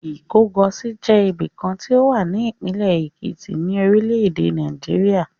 Ìkọgòsì jẹ́ ibìkan tí ó wà ní ìpínlẹ̀ Èkìtì, orílẹ̀-èdè Nàìjíríà.